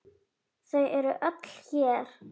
Þau eru öll hér.